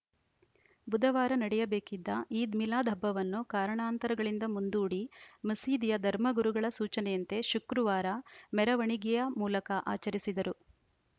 ಬುಧವಾರ ನಡೆಯಬೇಕಿದ್ದ ಈದ್‌ ಮಿಲಾದ್‌ ಹಬ್ಬವನ್ನು ಕಾರಣಾಂತರಗಳಿಂದ ಮುಂದೂಡಿ ಮಸೀದಿಯ ಧರ್ಮಗುರುಗಳ ಸೂಚನೆಯಂತೆ ಶುಕ್ರವಾರ ಮೆರವಣಿಗೆಯ ಮೂಲಕ ಆಚರಿಸಿದರು